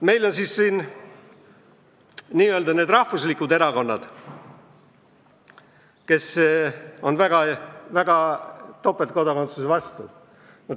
Meil on siis n-ö rahvuslikud erakonnad väga topeltkodakondsuse vastu.